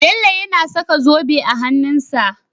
Bello yAna saka zobe a hanun sa